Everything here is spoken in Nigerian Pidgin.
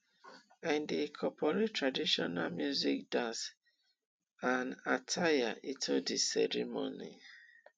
i dey incorporate traditional music dance and attire into di ceremony